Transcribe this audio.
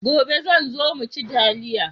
Gobe zan zo mu ci taliya.